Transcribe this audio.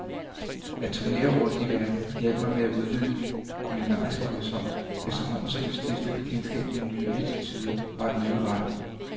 At turnere rundt i verden hjalp mig til at udvide min kulinariske horisont, efterhånden som jeg stiftede bekendtskab med nye attituder og nye retter.